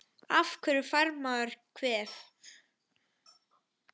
Af hverju fær maður kvef?